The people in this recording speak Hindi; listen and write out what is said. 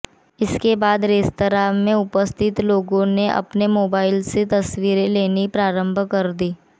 इसके बाद रेस्तरां में उपस्थित लोगों ने अपने मोबाइल से तस्वीरें लेनी प्रारंभ कर दी